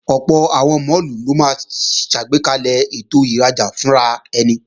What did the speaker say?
Ọ̀pọ̀ àwọn máàlù ló máa ṣàgbékalẹ̀ ètò ìrajà fúnraẹni